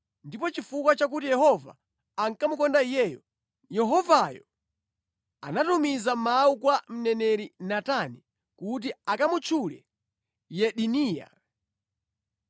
Ndipo chifukwa chakuti Yehova ankamukonda iyeyo, Yehovayo anatumiza mawu kwa mneneri Natani kuti akamutchule Yedidiya.